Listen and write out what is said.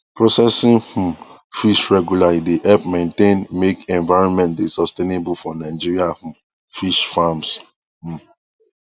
processing um fish regularly dey help maintain make environment dey sustainable for nigerian um fish farms um